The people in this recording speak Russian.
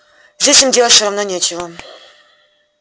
здесь им делать всё равно нечего